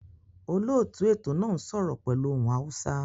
Olóòtú ètò náà n sọ́rọ́ pẹ́lu ohun Hausa